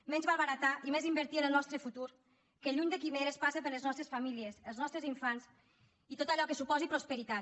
menys malbaratar i més invertir en el nostre futur que lluny de quimeres passa per les nostres famílies els nostres infants i tot allò que suposi prosperitat